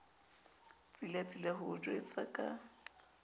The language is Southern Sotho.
tsilatsila ho o jwetsa ka